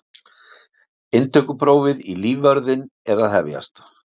Inntökuprófið í lífvörðinn er að hefjast.